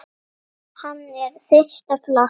Hann er fyrsta flokks.